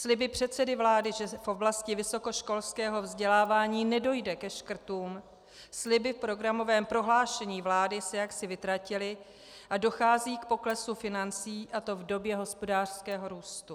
Sliby předsedy vlády, že v oblasti vysokoškolského vzdělávání nedojde ke škrtům, sliby v programovém prohlášení vlády se jaksi vytratily a dochází k poklesu financí, a to v době hospodářského růstu.